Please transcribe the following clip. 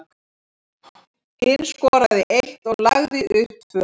Hinn skoraði eitt og lagði upp tvö.